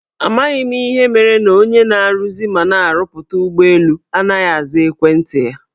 Amaghị m ihe mere na onye na-aruzi mana na-arụpụta ụgbọelu anaghị aza ekwenti anyị.